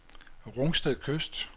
Rungsted Kyst